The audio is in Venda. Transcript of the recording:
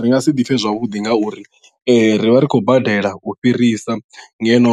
Ri nga si ḓipfhe zwavhuḓi ngauri ee ri vha ri khou badela u fhirisa ngeno